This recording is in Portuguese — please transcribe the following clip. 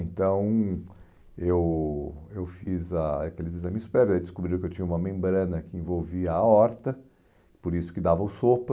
Então, eu eu fiz ah aqueles exames prévios e descobri que eu tinha uma membrana que envolvia a aorta, por isso que dava o sopro.